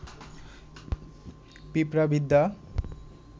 পিঁপড়াবিদ্যা